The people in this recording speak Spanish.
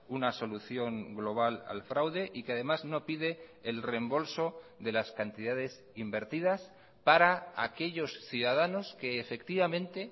una solución global al fraude y que además no pide el reembolso de las cantidades invertidas para aquellos ciudadanos que efectivamente